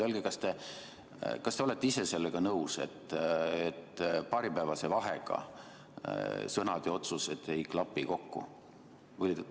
Öelge, kas te olete ise sellega nõus, et paaripäevase vahega sõnad ja otsused ei klapi kokku.